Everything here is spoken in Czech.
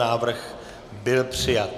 Návrh byl přijat.